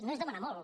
no és demanar molt